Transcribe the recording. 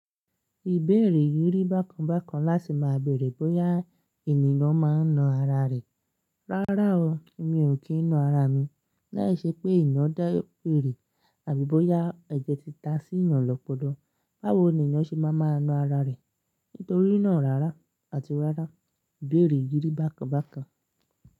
Ìbéèrè yírí bákan bákan láti máa bèèrè bóyá ènìyàn máa ń na ara rẹ̀. Rárá o, mi ò kí ń na ara mi. Láìṣẹ́ pé iná dá erè àbí bóyá ẹ̀jẹ̀ tí ta sí inú ọlọ́pọdọ́. Báwo ni ènìyàn ṣe máa máa na ara rẹ̀? Nítorí náà rárá àti rárá. Bèèrè yírí bákan bákan.